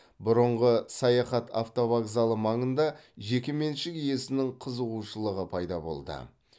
бұрынғы саяхат автовокзалы маңында жекеменшік иесінің қызығушылығы пайда болды